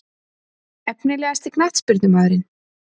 Efnilegasti knattspyrnumaðurinn?